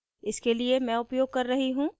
इसके लिए मैं उपयोग कर रही हूँ